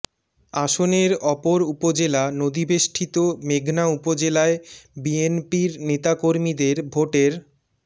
আসনের অপর উপজেলা নদীবেষ্টিত মেঘনা উপজেলায় বিএনপির নেতাকর্মীদের ভোটের